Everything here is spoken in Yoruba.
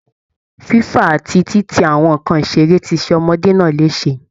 Fífà àti títì àwọn nǹkan ìṣeré ti ṣe ọmọdé náà léṣe